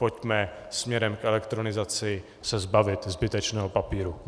Pojďme směrem k elektronizaci, zbavit se zbytečného papíru.